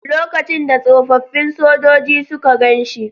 Lokacin da tsofaffin sojoji suka gan shi..